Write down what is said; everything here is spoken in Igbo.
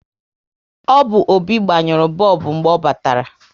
Ọ bụ Obi gbanyuru bọlbụ mgbe ọ batara